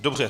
Dobře.